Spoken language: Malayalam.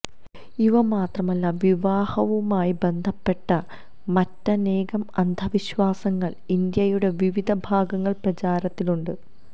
ഇവ മാത്രമല്ല വിവാഹവുമായി ബന്ധപ്പെട്ടു മറ്റനേകം അന്ധവിശ്വാസങ്ങൾ ഇന്ത്യയുടെ വിവിധ ഭാഗങ്ങൾ പ്രചാരത്തിലുണ്ട്